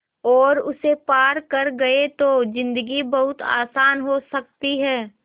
और उसे पार कर गए तो ज़िन्दगी बहुत आसान हो सकती है